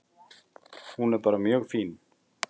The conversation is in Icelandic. Hún er bara mjög fín.